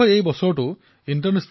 এজনে আনজনৰ ভাষা শুধৰাই দিলে